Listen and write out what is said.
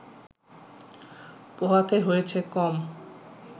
পোহাতে হয়েছে কম